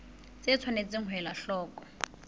tse tshwanetseng ho elwa hloko